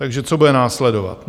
Takže co bude následovat?